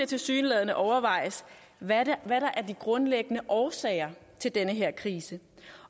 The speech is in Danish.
tilsyneladende overvejes hvad der er de grundlæggende årsager til den her krise